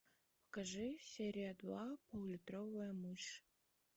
покажи серия два пол литровая мышь